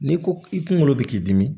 N'i ko i kunkolo bɛ k'i dimi